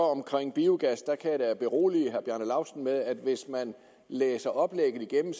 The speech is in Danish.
at omkring biogas kan jeg da berolige herre bjarne laustsen med at hvis man læser oplægget igennem